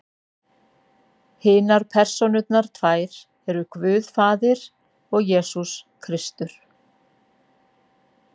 hinar persónurnar tvær eru guð faðir og jesús kristur